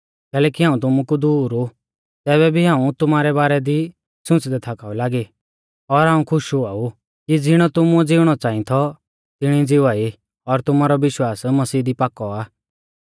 कैलैकि हाऊं तुमु कु दूर ऊ तैबै भी हाऊं तुमारै बारै दी सुंच़दै थाकाऊ लागी और हाऊं खुश हुआ ऊ कि ज़िणौ तुमुऐ ज़िउणौ च़ांई थौ तिणी ज़िवा ई और तुमारौ विश्वास मसीह दी पाकौ आ